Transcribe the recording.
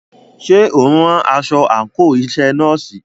Ṣé o ń rán aṣọ àńkò iṣẹ nọ́ọ̀sì?